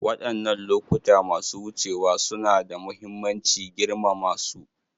Wadannan lokuta masu wucewa suna da mahimmanci; girmama su.